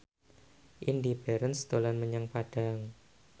Indy Barens dolan menyang Padang